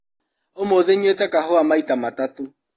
ũmũthĩ nyuĩte kahũa maita matatũ.